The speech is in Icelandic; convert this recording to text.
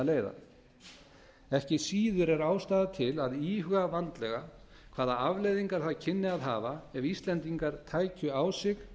að leiða ekki síður er ástæða til að íhuga vandlega hvaða afleiðingar það kynni að hafa ef íslendingar tækju á sig